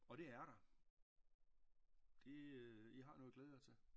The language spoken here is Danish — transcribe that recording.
Og det er der det øh i har noget at glæde jer til